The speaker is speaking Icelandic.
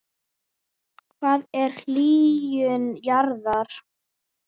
Hvað er hlýnun jarðar?